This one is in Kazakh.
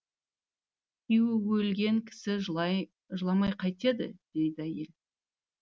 күйеуі өлген кісі жыламай қайтеді дейді әйел